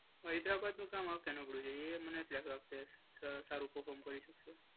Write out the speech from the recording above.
હૈદરાબાદનું કામ આ વખતે ના પડવું જોઈએ. એ મને લાગે છે સારું પર્ફોર્મન્સ કરી શકે.